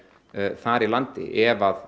þar í landi ef